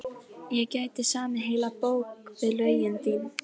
Ég gæti samið heila bók við lögin þín.